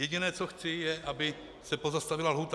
Jediné, co chci, je, aby se pozastavila lhůta.